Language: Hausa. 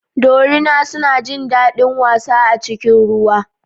Dorina suna jin daɗin wasa a cikin ruwa.